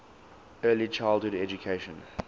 early childhood education